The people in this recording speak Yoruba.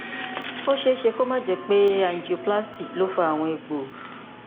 ó ṣeé ṣe kó má jẹ pé angioplasty ló fa àwọn egbò